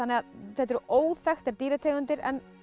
þetta eru óþekktar dýrategundir en